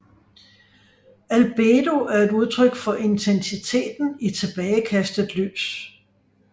Albedo er et udtryk for intensiteten i tilbagekastet lys